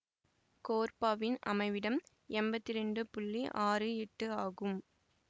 கோர்பாவின் அமைவிடம் எம்பத்தி இரண்டு புள்ளி ஆறு எட்டு ஆகும்